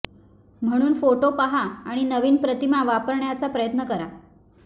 म्हणून फोटो पहा आणि नवीन प्रतिमा वापरण्याचा प्रयत्न करा